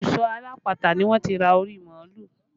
Ibùsọ alápatà ni wọ́n ti ra orí màálù